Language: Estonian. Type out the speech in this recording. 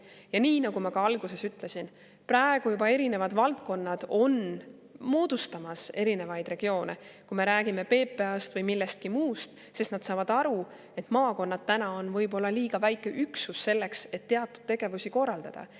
Ja nii nagu ma ka alguses ütlesin, praegu juba eri valdkonnad on moodustamas erinevaid regioone, kui me räägime PPA-st või millestki muust, sest nad saavad aru, et maakonnad on võib-olla liiga väike üksus selleks, et teatud tegevusi korraldada.